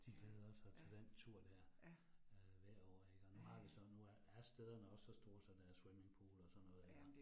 De glæder sig til den tur dér øh hvert år ik, og nu har vi så nu er er stederne også så store, så der er swimmingpool og sådan noget iggå